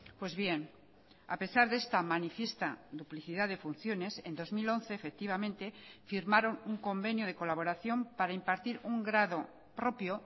pues bien a pesar de esta manifiesta duplicidad de funciones en dos mil once efectivamente firmaron un convenio de colaboración para impartir un grado propio